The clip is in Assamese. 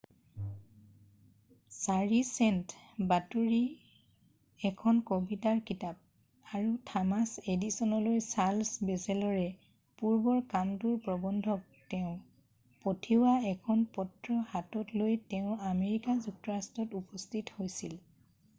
4 চেণ্ট এখন কবিতাৰ কিতাপ আৰু থমাচ এডিছনলৈ চাৰ্লছ বেচেলৰে পূৰ্বৰ কামটোৰ প্ৰবন্ধক তেওঁ পঠিওৱা এখন পত্ৰ হাতত লৈ তেওঁ আমেৰিকা যুক্তৰাষ্ট্ৰত উপস্থিত হৈছিল।